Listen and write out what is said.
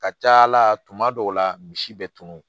Ka ca ala tuma dɔw la misi bɛ tunu